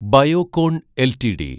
Biocon LTD